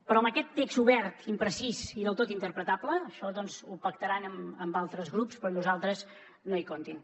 però amb aquest text obert imprecís i del tot interpretable això doncs ho pactaran amb altres grups però amb nosaltres no hi comptin